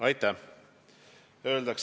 Aitäh!